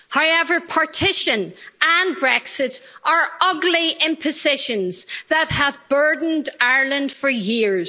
However, partition and Brexit are ugly impositions that have burdened Ireland for years.